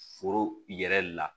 Foro yɛrɛ la